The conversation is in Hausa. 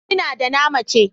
Ina da na mace.